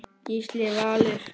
Gísli Valur.